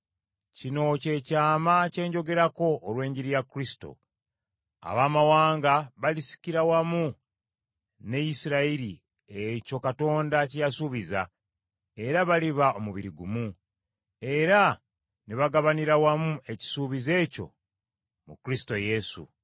Kino kye kyama kye njogerako: olw’enjiri ya Kristo, Abaamawanga balisikira wamu ne Isirayiri ekyo Katonda kye yasuubiza, era baliba omubiri gumu, era ne bagabanira wamu ekisuubizo ekyo mu Kristo Yesu.